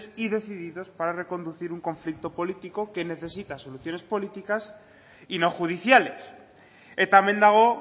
y decididos para reconducir un conflicto político que necesita soluciones políticas y no judiciales eta hemen dago